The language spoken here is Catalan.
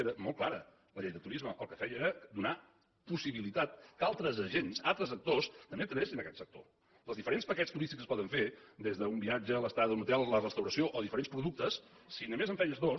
era molt clara la llei de turisme el que feia era donar possibilitat que altres agents altres actors també entressin en aquest sector que els diferents paquets turístics que es poden fer des d’un viatge l’estada a un hotel la restauració o diferents productes si només en feies dos